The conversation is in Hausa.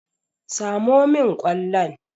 Samo min kwallon!